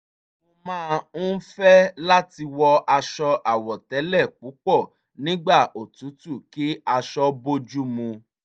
mo máa ń fẹ́ láti wọ aṣọ àwọ̀tẹ́lẹ̀ púpọ̀ nígbà òtútù kí aṣọ bójú mu